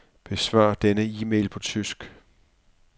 Besvar denne e-mail på tysk.